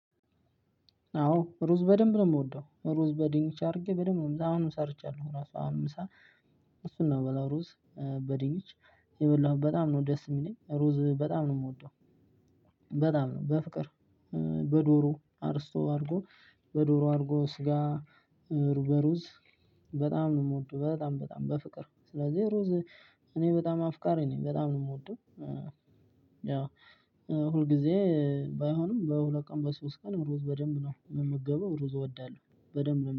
አዎ ሩዝ በደምብ ነው ምወደው ሩዝ በድንች አድርጌ በደምብ ነው አሁን ሰርቻለሁ ራሱ አሁን ምሳ እሱን ነው ምበላው ሩዝ። በድንች እየበላሁ በጣም ነው ደስ የምለኝ ሩዝ በጣም ነው ምወደው። በጣም ነው በፍቅር በዶሮ አሮስቶ አድርጎ በዶሮ አርጎ ስጋ ሩዝ በሩዝ በጣም ነው የምወደው በጣም በጣም በፍቅር ስለዚህ ሩዝ። እኔ በጣም አፍቃሪ ነኝ በጣም ነው የምወደው። ያው ሁልጊዜ ባይሆንም በሁለት ቀን በሶስት ቀን ሩዝ በደንብ ነው የምመገባው። ሩዝ እወዳለሁ በደንብ ነው